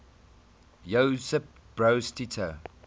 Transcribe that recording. josip broz tito